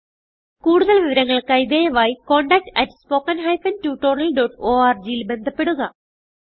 കുടുതൽ വിവരങ്ങൾക്കായി ദയവായിcontactspoken tutorialorgൽ ബന്ധപ്പെടുക